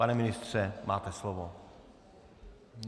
Pane ministře, máte slovo.